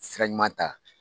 Sira ɲuman ta.